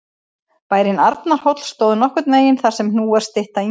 Bærinn Arnarhóll stóð nokkurn veginn þar sem nú er stytta Ingólfs.